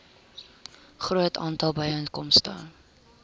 groot aantal byeenkomste